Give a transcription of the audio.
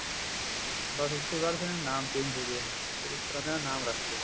ਬੱਸ ਉਸ ਤੇ ਬਾਅਦ ਫ਼ੇਰ ਇਸਦਾ ਨਾਮ change ਹੋਗਿਆ ਫੇਰ ਇਸ ਤਰ੍ਹਾਂ ਇਹਦਾ ਨਾਮ ਰੱਖ ਲਿਆ